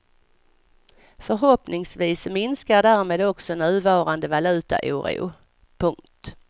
Förhoppningsvis minskar därmed också nuvarande valutaoro. punkt